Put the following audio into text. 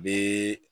U bɛ